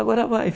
Agora vai!